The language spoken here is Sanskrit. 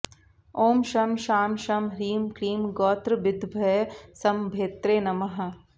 ॐ शं शां षं ह्रीं क्लीं गोत्रभिद्भयसम्भेत्रे नमः